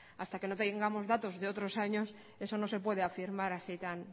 hasta que no tengamos datos de otros años eso no se puede afirmar así tan